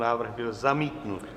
Návrh byl zamítnut.